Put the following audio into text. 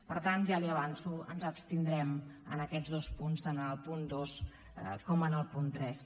per tant ja li ho avanço ens abstindrem en aquests dos punts tant en el punt dos com en el punt tres